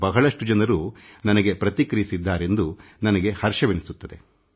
ಬಹಳಷ್ಟು ಜನರು ಇದಕ್ಕೆ ಪ್ರತಿಕ್ರಿಯಿಸಿದ್ದಾರೆಂದು ಇದು ನನಗೆ ಸಂತಸವೆನಿಸುತ್ತದೆ